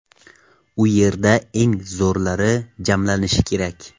U yerda eng zo‘rlar jamlanishi kerak.